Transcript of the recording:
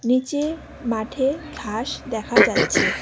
নিচে মাঠে ঘাস দেখা যাচ্ছে।